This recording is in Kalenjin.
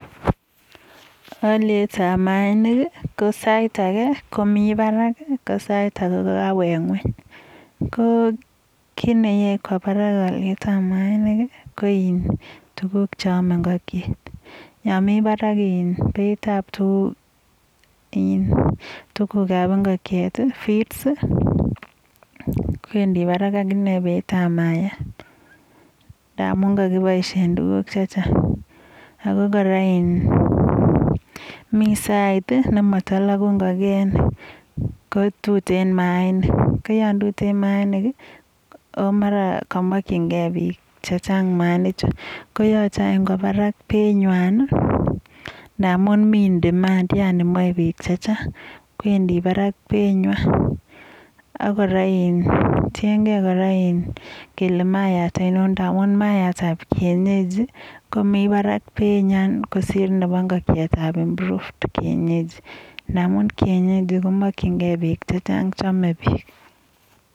Valuitab maanik ko sait age, komi parak, ko sait age kokakowek ng'ueny.ko kit neyai kowa parak alyetab ab maainik ko tukuk che amei ingokchet . Yo mi parak beitab tukukab ingokchet, feeds kowendi parak ak ine beinebo maayat ngamun kakiboishe tukuk chechang. Ako kora mi sait nemata lagu ingokenik, ko tuteen maainik ko ton tuteen maainik aki mara kokamakchingei bik chechang maainchu koyachei any koba parak beinyuan, ndamun mi in demand yani maei bik chechang. Kowendi parak beinyun ako kota tiengei kora kele maayat anon ngamun maayatab kienyeji komi parak beinyin kosir nebo ingokchet ab improved kienyeji. Ndamun kienyeji komakchingei bik chechang chamei bik.